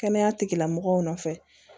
Kɛnɛya tigilamɔgɔw nɔfɛ